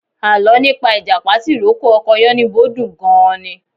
Alọ́ nípa ìjàpá tìrókò ọkọ Yánníbo dùn gan-an ni.